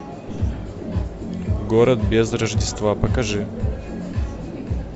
город без рождества покажи